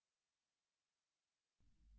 बदलावों को अन्डू करते हैं